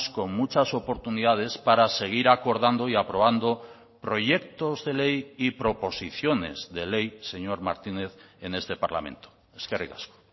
con muchas oportunidades para seguir acordando y aprobando proyectos de ley y proposiciones de ley señor martínez en este parlamento eskerrik asko